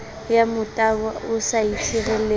ya motabo o sa itshireletsa